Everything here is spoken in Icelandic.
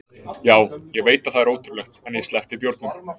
Já, ég veit að það er ótrúlegt en ég sleppti bjórnum.